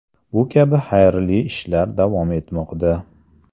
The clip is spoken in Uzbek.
Bu kabi xayrli ishlar davom etmoqda.